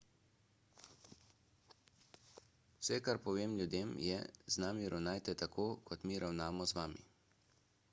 vse kar povem ljudem je z nami ravnajte tako kot mi ravnamo z vami